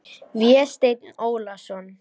Vésteinn Ólason.